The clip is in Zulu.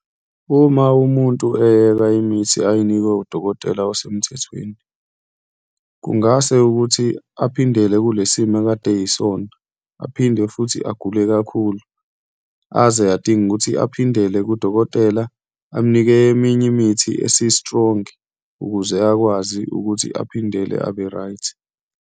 Uma umuntu eyeka imithi ayinikwe udokotela osemthethweni, kungase ukuthi aphindele kule simo akade ayisona, aphinde futhi agule kakhulu, aze adinge ukuthi aphindele kudokotela, amnike eminye imithi esi-strong ukuze akwazi ukuthi aphindele abe-right.